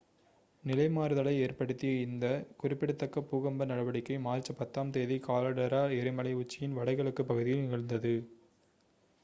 நிலை மாறுதலை ஏற்படுத்திய இந்த குறிப்பிடத்தக்க பூகம்ப நடவடிக்கை மார்ச் 10 ம் தேதி காலடெரா எரிமலை உச்சியின் வட கிழக்குப் பகுதியில் நிகழ்ந்தது